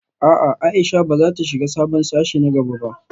A'a Aisha bazata shiga sabon sashe na gaba ba